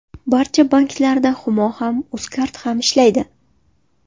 Barcha banklarda Humo ham, Uzcard ham ishlaydi.